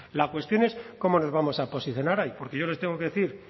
la cuestión es cómo nos vamos a posicionar porque yo les tengo que decir